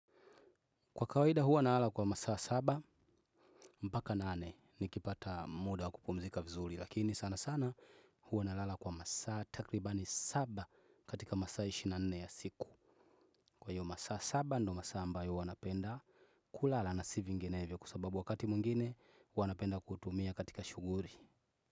Kwa kawaida huwa nalala kwa masaa saba mpaka nane nikipata muda wa kupumzika vizuri, lakini sana sana huwa nalala kwa masaa takribani saba katika masaa ishirini na manne ya siku. Kwa hayo masaa saba ndiyo masaa ambayo napenda kulala na si vinginevyo, kwa sababu wakati mwingine napenda kutumia katika shughuli.